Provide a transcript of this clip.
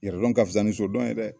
Yɛrɛdɔn ka fisa ni sodɔn ye dɛ